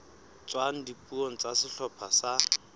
tswang dipuong tsa sehlopha sa